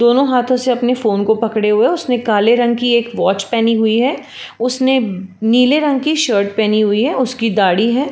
दोनों हाथों से अपने फोन को पकड़े हुए है। उसने काले रंग कि एक वाच पहनी हुई है। उसने नीले रंग के शर्ट पहनी हुई है उसकी दाढ़ी है।